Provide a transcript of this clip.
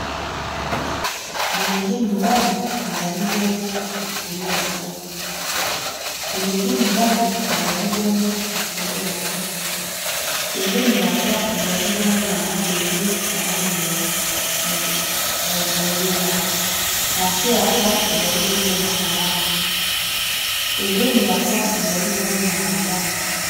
bilenge mibali bazali bongo likolo ya pon bilenge mibali bazali bongo likolo ya pon pembeni ya pon ezali bongo na mabende na lange ya bozenga na se ya pon ezali bongo na kalamu pembeni ya pon ezali bongo na bandako